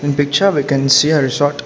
In picture we can see a resort.